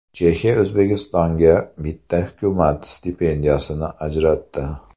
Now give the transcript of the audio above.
Chexiya O‘zbekistonga bitta hukumat stipendiyasini ajratdi.